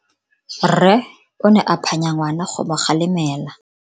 Rre o ne a phanya ngwana go mo galemela.